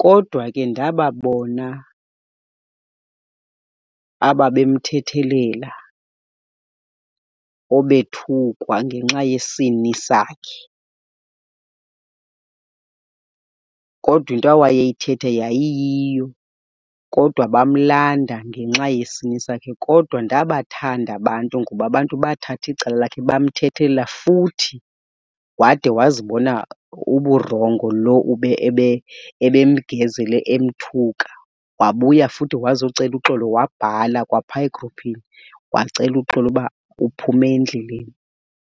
Kodwa ke ndababona ababemthethelela obethukwa ngenxa yesini sakhe, kodwa into awayeyithetha yayiyiyo, kodwa bamlanda ngenxa yesini sakhe. Kodwa ndabathanda abantu, ngoba abantu bathatha icala lakhe bamthethelela futhi wade wazibona uburongo lo ebemgezele emthuka. Wabuya futhi wazocela uxolo, wabhala kwaphaya egruphini wacela uxolo uba uphume endleleni.